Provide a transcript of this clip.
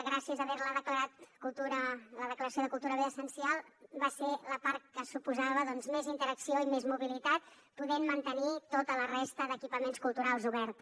gràcies a la declaració de cultura bé essencial va ser la part que suposava més interacció i més mobilitat i vam poder mantenir tota la resta d’equipaments culturals oberts